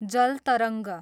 जल तरङ्ग